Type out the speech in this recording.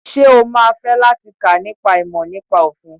Sé o má a fẹ́ láti kà nípa ìmọ̀ nípa òfin?